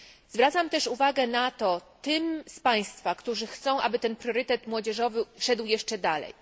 Zwracam też uwagę na to tym z Państwa, którzy chcą, aby ten priorytet młodzieżowy szedł jeszcze dalej.